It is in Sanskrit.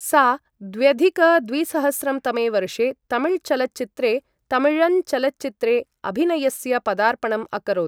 सा द्व्यधिक द्विसहस्रं तमे वर्षे तमिल चलच्चित्रे थमिझन् चलच्चित्रे अभिनयस्य पदार्पणम् अकरोत् ।